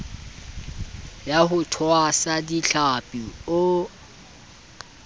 ya ho tshwasa dihlapi o